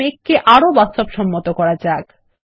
এখন মেঘ কে আরো বাস্তবসম্মত করা যাক